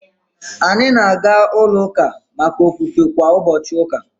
Anyị na-aga ulo uka maka ofufe kwa ubochi uka